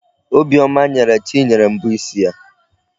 Obiọma nyere Chinyere mbọ isi ya.